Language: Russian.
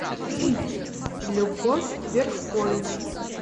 любовь верховина